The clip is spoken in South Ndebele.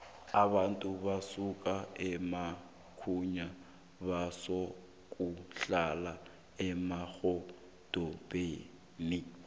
abantu basuka emakhaya bazokuhlala emadorobheni